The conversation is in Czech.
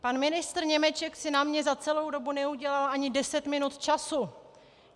Pan ministr Němeček si na mě za celou dobu neudělal ani deset minut času.